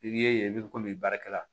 I ye i bɛ komi baarakɛla